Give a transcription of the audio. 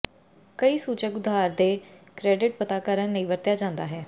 ਕਈ ਸੂਚਕ ਉਧਾਰ ਦੇ ਕ੍ਰੈਡਿਟ ਪਤਾ ਕਰਨ ਲਈ ਵਰਤਿਆ ਜਾਦਾ ਹੈ